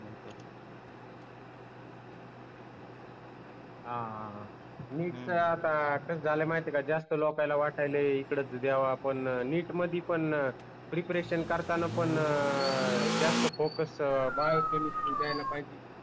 हा हा हा NEET आता कस झाला आहे की माहिती आहे का जास्त लोकायले वटायले इकडं च द्यावा आपण NEET मध्ये पन प्रिपरेशन करताना पन जास्त फोकस बायो केमिस्ट्री द्यायला पाहिजे